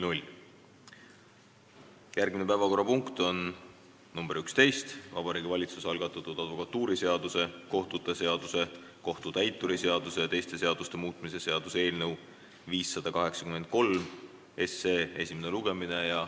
Järgmine päevakorrapunkt on nr 11, Vabariigi Valitsuse algatatud advokatuuriseaduse, kohtute seaduse, kohtutäituri seaduse ja teiste seaduste muutmise seaduse eelnõu 583 esimene lugemine.